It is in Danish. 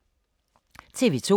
TV 2